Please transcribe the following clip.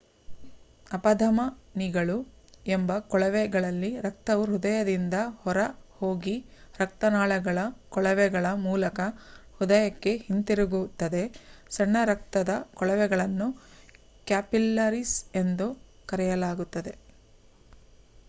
ಅಪಧಮನಿಗಳು ಎಂಬ ಕೊಳವೆಗಳಲ್ಲಿ ರಕ್ತವು ಹೃದಯದಿಂದ ಹೊರ ಹೋಗಿ ರಕ್ತನಾಳಗಳ ಕೊಳವೆಗಳ ಮೂಲಕ ಹೃದಯಕ್ಕೆ ಹಿಂತಿರುಗುತ್ತದೆ ಸಣ್ಣ ರಕ್ತದ ಕೊಳವೆಗಳನ್ನು ಕ್ಯಾಪಿಲ್ಲರೀಸ್ ಎಂದು ಕರೆಯಲಾಗುತ್ತದೆ